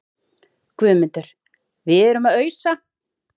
GUÐMUNDUR: Við erum að ausa.